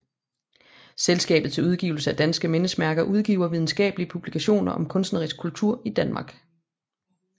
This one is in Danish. Selskabet til Udgivelse af danske Mindesmærker udgiver videnskabelige publikationer om kunstnerisk kultur i Danmark